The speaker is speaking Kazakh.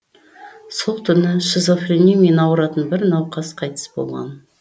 сол түні шизофрениямен ауыратын бір науқас қайтыс болған